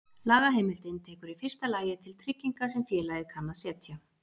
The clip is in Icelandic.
Lagaheimildin tekur í fyrsta lagi til trygginga sem félagið kann að setja.